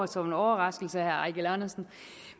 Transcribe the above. som en overraskelse